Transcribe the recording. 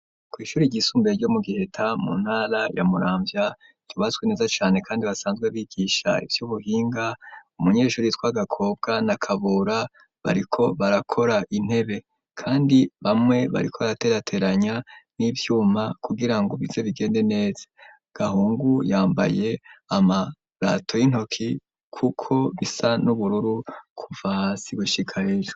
kw'ishure ryisumbuye, ryo mu Giheta, mu ntara ya Muramvya, ryubatswe neza cane, kandi basanzwe bigisha, ivy'ubuhinga; umunyeshuri yitwa Gakobwa, na Kabura, bariko barakora intebe; kandi bamwe, bariko baraterateranya n'ivyuma, kugira ngo, bize bigende neza; Gahungu yambaye amarato y'intoki, kuko bisa n'ubururu, kuva hasi gushika hejuru.